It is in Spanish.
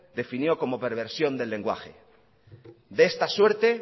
definió como perversión del lenguaje de esta suerte